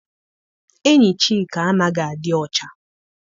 Enyi Chika anaghị adị ọcha.